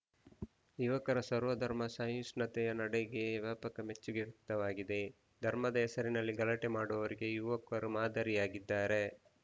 ಯುವಕರ ಸರ್ವಧರ್ಮ ಸಹಿಷ್ಣುತೆಯ ನಡೆಗೆ ವ್ಯಾಪಕ ಮೆಚ್ಚುಗೆ ವ್ಯಕ್ತವಾಗಿದೆ ಧರ್ಮದ ಹೆಸರಿನಲ್ಲಿ ಗಲಾಟೆ ಮಾಡುವವರಿಗೆ ಯುವಕರು ಮಾದರಿಯಾಗಿದ್ದಾರೆ